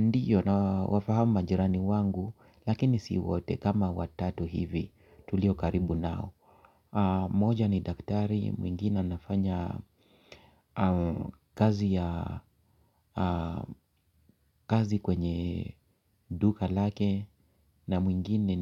Ndiyo na wafahamu majirani wangu lakini si wote kama watatu hivi tulio karibu nao. Moja ni daktari, mwingine nafanya kazi kwenye duka lake na mwingine